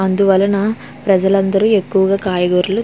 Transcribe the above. అందు వల్లనా ప్రజలులందరు ఎక్కువగా కాయగురాళ్ళు.